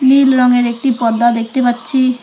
নীল রঙের একটি পর্দা দেখতে পাচ্ছি।